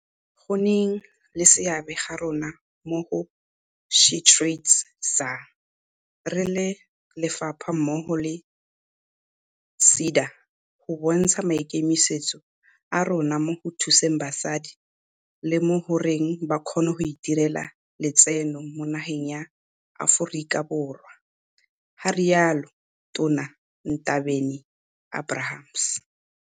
"Go nneng le seabe ga rona mo go SheTradesZA re le lefapha mmogo le SEDA go bontsha maikemisetso a rona mo go thuseng basadi le mo go reng ba kgone go itirela letseno mo nageng ya Aforika Borwa," ga rialo Tona Ndabeni-Abrahams.